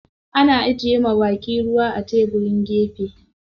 Ana ajiye wa baƙi ruwa a tebirin gefe.